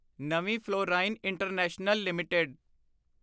ਨਵੀਂ fluorine international limited